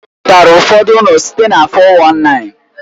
Ọ zụtara ụfọdụ ụlọ site na 419.